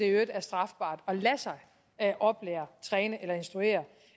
øvrigt er strafbart at lade sig oplære træne eller instruere